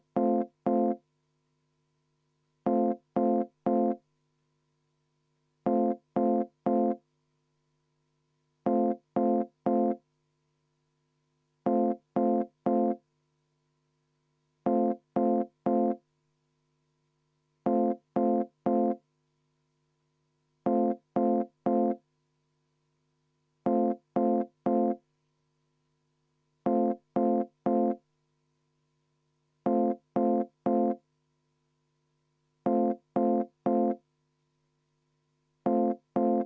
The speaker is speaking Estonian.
Kirja sisu on järgmine: Eesti Konservatiivse Rahvaerakonna fraktsioon teeb ettepaneku õiguskomisjoni algatatud kriminaalmenetluse seadustiku muutmise seaduse eelnõu 392 teine lugemine katkestada.